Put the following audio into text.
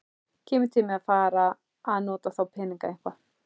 Kemur til með að fara að nota þá peninga eitthvað?